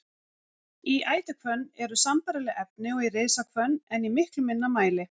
Í ætihvönn eru sambærileg efni og í risahvönn en í miklu minna mæli.